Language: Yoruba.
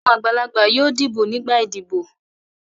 Àwọn àgbàlagbà yóò dìbò nígbà ìdìbò.